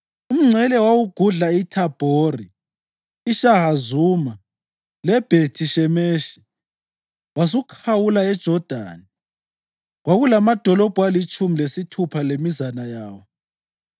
Umngcele wawugudla iThabhori, iShahazuma leBhethi-Shemeshi wasukhawula eJodani. Kwakulamadolobho alitshumi lesithupha lemizana yawo.